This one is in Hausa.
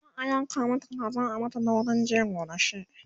za'a yanka Mata kaza a mata daurin jego da shi